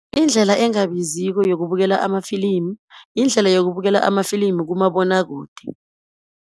Indlela engabiziko yokubukela amafilimu, yindlela ayokubukela amafilimu kumabonakude.